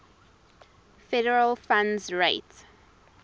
federal funds rate